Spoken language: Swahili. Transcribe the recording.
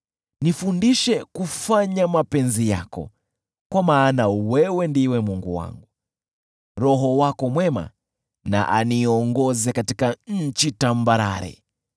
Nifundishe kufanya mapenzi yako, kwa maana wewe ndiwe Mungu wangu, Roho wako mwema na aniongoze katika nchi tambarare.